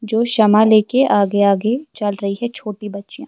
.جو شمع لے کر اگے اگے چل رہی ہے چھوٹی بچی